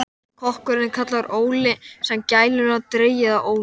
Kokkurinn er kallaður Óli, sem er gælunafn dregið af Ólaf